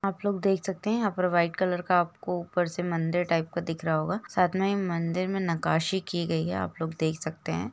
आप लोग देख सकते है यहाँ पर वाइट कलर का आपको ऊपर से मंदिर टाइप का दिख रहा होगा साइड मे मंदिर मे नकाशी की गई है आप लोग देख सकते है।